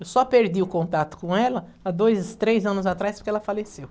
Eu só perdi o contato com ela há dois, três anos atrás porque ela faleceu.